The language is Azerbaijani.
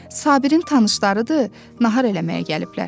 Sabirin tanışlarıdır, nahar eləməyə gəliblər.